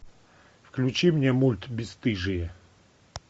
включи мне мульт бесстыжие